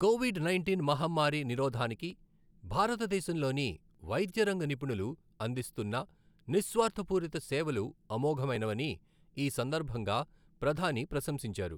Covid nineteen మహమ్మారి నిరోధానికి భారతదేశంలోని వైద్యరంగ నిపుణులు అందిస్తున్న నిస్వార్థపూరిత సేవలు అమోఘమైనవని. ఈ సందర్భంగా ప్రధాని ప్రశంసించారు.